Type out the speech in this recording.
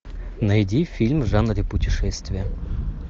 найди фильм в жанре путешествие